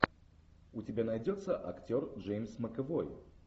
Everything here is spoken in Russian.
у тебя найдется актер джеймс макэвой